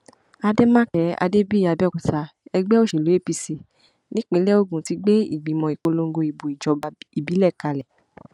àdèmàkè adébíyí àbẹòkúta ẹgbẹ òṣèlú apc nípínlẹ ogun ti gbé ìgbìmọ ìpolongo ìbò ìjọba ìbílẹ kalẹ